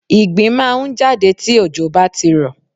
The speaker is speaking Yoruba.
Ìgbín máà ń jáde tí òjò bá ti rọ̀.